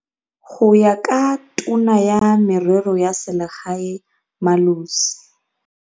Go ya ka Tona ya Merero ya Selegae Malusi